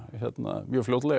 mjög fljótlega